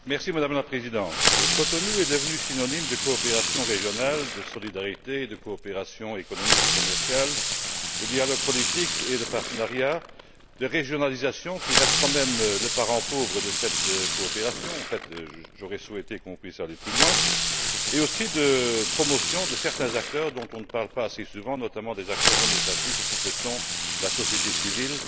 Madame la Présidente, Cotonou est devenu synonyme de coopération régionale, de solidarité et de coopération économique et commerciale, de dialogue politique et de partenariat, de régionalisation qui reste, quand même, le parent pauvre de cette coopération en fait, j'aurais souhaité qu'on puisse aller plus loin et aussi de promotion de certains acteurs dont on ne parle pas assez souvent, notamment des acteurs non étatiques que sont la société civile